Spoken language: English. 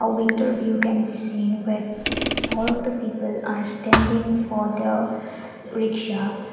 winter we can be seen with far of the people are standing for the rickshaw.